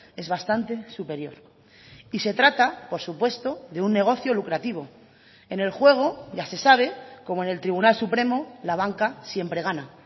es bastante superior y se trata por supuesto de un negocio lucrativo en el juego ya se sabe como en el tribunal supremo la banca siempre gana